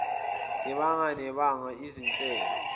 ibanga nebanga izinhlelo